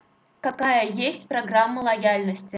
какая есть программа лояльности